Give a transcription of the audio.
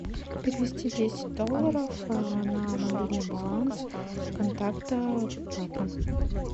перевести десять долларов на мобильный баланс контакта папа